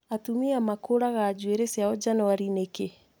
Atumia makũraga njuĩrĩ ciao Janũarĩ nĩkĩ?